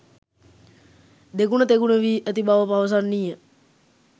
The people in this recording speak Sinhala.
දෙගුණ තෙගුණ වී ඇති බව පවසන්නීය.